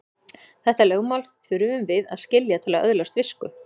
Þetta lögmál þurfum við að skilja til að öðlast visku.